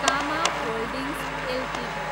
comma holdings Ltd